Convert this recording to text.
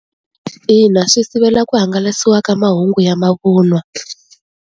Ina swi sivela ku hangalasiwa ka mahungu ya mavunwa.